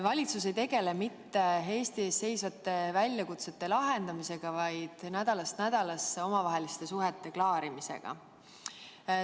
Valitsus ei tegele mitte Eesti ees seisvate väljakutsete lahendamisega, vaid nädalast nädalasse omavaheliste suhete klaarimisega.